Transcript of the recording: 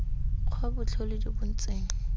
kgwa botlhole jo bo ntseng